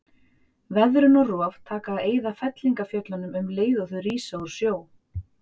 Veðrun og rof taka að eyða fellingafjöllunum um leið og þau rísa úr sjó.